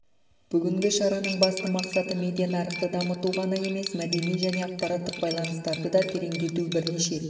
бүгінгі шараның басты мақсаты медиа нарықты дамыту ғана емес мәдени және ақпараттық байланыстарды да тереңдету бірнеше